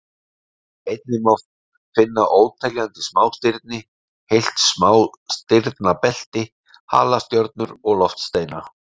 Einnig má finna óteljandi smástirni, heilt smástirnabelti, halastjörnur og loftsteina.